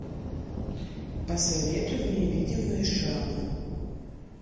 посоветуй мне видимые шрамы